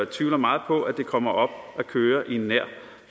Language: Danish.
tvivler meget på at det kommer op at køre i nær